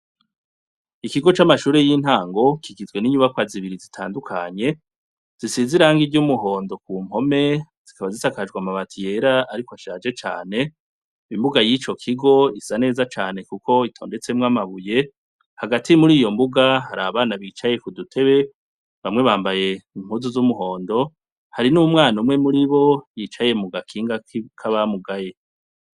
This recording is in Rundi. Ikigo camashure yintango kigizwe ninyubakwa zibiri zitandukanye gisize irangi ryumuhondo kumpome zikaba zisakaje namabati yera ariko ashaje cane imbuga yicokigo isa neza cane kuko itondetsemwo amabuye amabati yera ariko ashaje cane imbuga yicokigo isa neza cane kuko itondetsemwo amabuye hagati muriyombuga hari abana bicaye kudutebe bamwe bambaye impuzu zumuhondo hari numwana umwe muribo yicaye mugakinga kabamugaye